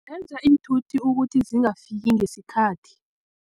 Zenza iinthuthi ukuthi zingafiki ngesikhathi.